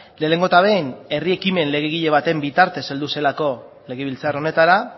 lehenengo eta behin herri ekimen legegile baten bitartez heldu zelako legebiltzar honetara